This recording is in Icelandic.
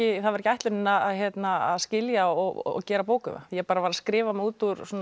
það var ekki ætlunin að að skilja og gera bók um það ég varð að skrifa mig út úr